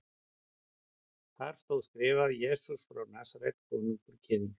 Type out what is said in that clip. Þar stóð skrifað: Jesús frá Nasaret, konungur Gyðinga.